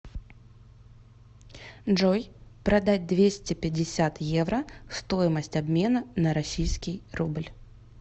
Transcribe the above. джой продать двести пятьдесят евро стоимость обмена на российский рубль